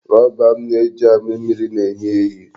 Rọba m na-eji amị mmiri na-ehi ehi.